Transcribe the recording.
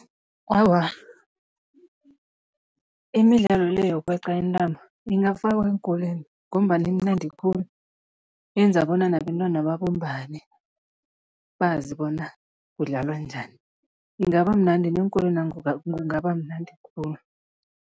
Awa, imidlalo le yokweqa intambo ingafakwa eenkolweni ngombana imnandi khulu, yenza bona nabentwana babumbane, bazi bona kudlalwa njani, ingaba mnandi, neenkolwena kungaba mnandi khulu.